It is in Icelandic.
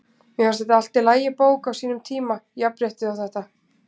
Mér fannst þetta allt í lagi bók á sínum tíma- jafnréttið og þetta.